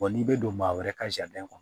n'i bɛ don maa wɛrɛ ka kɔnɔ